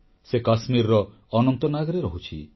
ସେ କାଶ୍ମୀରର ଅନନ୍ତନାଗରେ ରହୁଛି